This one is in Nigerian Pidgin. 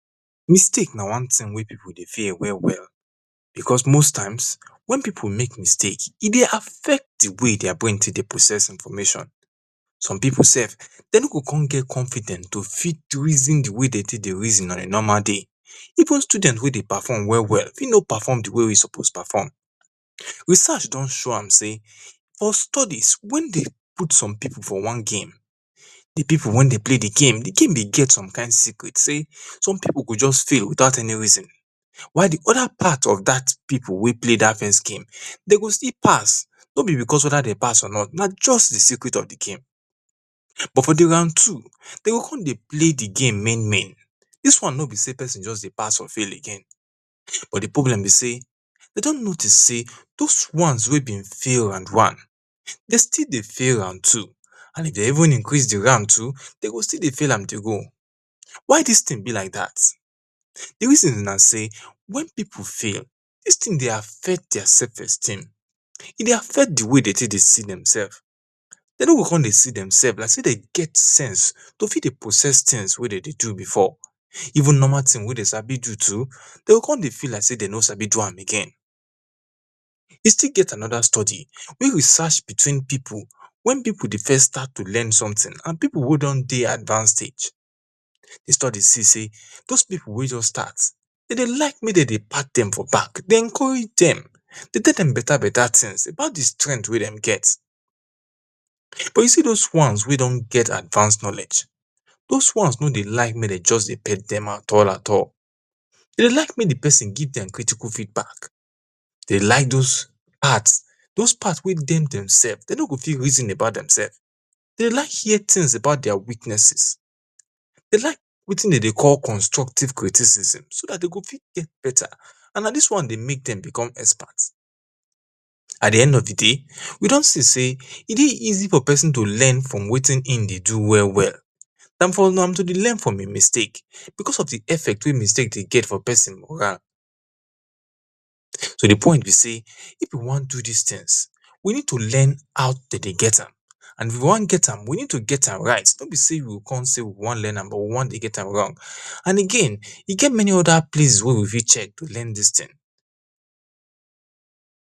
Mistake na wan thing wen pipu dey fear well well because wen pipu mek mistakes, e dey affect di way their brain tek dey process information. Some pipu sef de no go kon get confident to tek reason di way de tek dey reason even student wey de perform, fit no perform di way e suppose perform. Research don show am sey for studies wen de put some pipu for wan game, pipu wen play di game di game be get some kind secret sey some pipu go just fail without any reason while di other part of dat pipu wey pla dat first game, den go still pass no be because weda den pass or not but na because of di secret of di game. But for round two, de go kon dey play di game win win dis won no be sey pasin just dey pass or fail again, but di problem be sey de don notice sey thouse won wey be sey de fail round one, de still dey fil round two and even de even increase di round too, de go still de fail am dey go. Why dis thing be lliike dat dis reason b sey if pipu fail, e dey affect their self esteem, e dey affct di way de tek de see dem self, de no go kon dey see dem sef like sey dem get sense to fit dey process things wey de dey do before even normal things weyy dem sabi do, dey go kon dey feel like sey de no sabi do am again. A still get anoda study mek searchbewteen pipu wen pipu dey first start to dey lern something and di study see sey those pipu wey just start, dem dey like mek dem pack dem for back de encourage dem de tell dem bata beta things about di strength wey den get. You see those wan wey de don get advance knowledge, those ones no dey like mek de just dey tell dem at all at all. Den like mekk di pesin give dem critical feedback, den like her things about their weaknesses, de like wetin de dey call constructive criticism and na dis won dey mek den become expert. At di nd of di day we don see sey e dey easy for pesin to learn from wetin e dey do well well dan for am to dey learn from mistake because of di effect wey mistake dey get for pesin. So di poin be sey if we won do dis thinfgs, we need to lern how de dey get am and if we won get am, we need to get am right no b sey we won learn am we o kon gt am wrong and again e get many other place wen we fit check to learn dis thing.